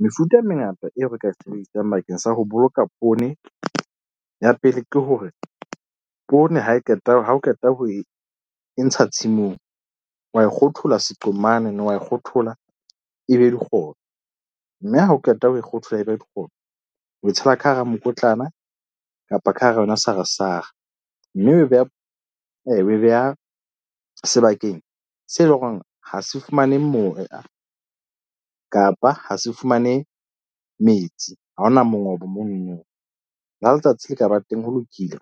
Mefuta e mengata eo re ka e sebedisang bakeng sa ho boloka poone. Ya pele ke hore poone ha e qeta ha o qeta ho e ntsha tshimong wa e kgothola seqhomane wa e kgothola e be dikgobe. Mme ha o qeta ho e kgothola e be dikgobe, o e tshela ka hara mokotlana kapa ka hara yona sarasara. Mme e beha o e beha sebakeng seo e leng hore ha se fumane moya kapa ha se fumane metsi. Ha hona mongobo mono no le ha letsatsi le ka ba teng ho lokile.